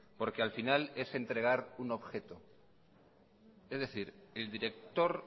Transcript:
porque al final es entregar un objeto es decir el director